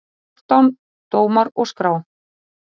Fjórtán dómar og skrá.